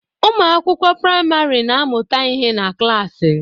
Ụmụ akwụkwọ praịmarị na-amụta ihe na klasi